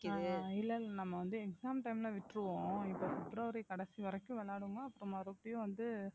ஆஹ் இல்ல இல்ல நம்ம வந்து exam time ல விட்டுருவோம் இப்ப பிப்ரவரி கடைசி வரைக்கும் விளையாடுவோமா அப்புறம் மறுபடியும் வந்து